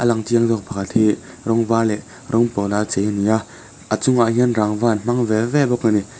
lang chiang zâwk pakhat hi rawng vâr leh rawng pâwl a chei a ni a a chungah hian rangva an hmang ve ve bawk a ni.